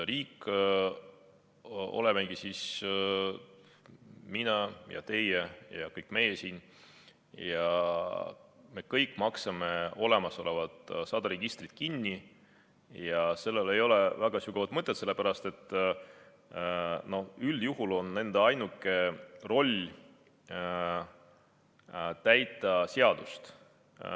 Riik olemegi mina ja teie ja kõik meie siin ja me kõik maksame sada olemasolevat registrit kinni ja sellel ei ole väga sügavat mõtet, sellepärast et üldjuhul on nende ainuke roll täita seadust.